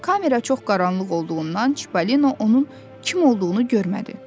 Kamera çox qaranlıq olduğundan Çipalino onun kim olduğunu görmədi.